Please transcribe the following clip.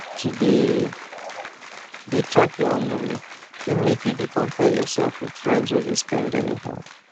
to dey dey track your own money fit make you dey compare yourself with friends wey de spend anyhow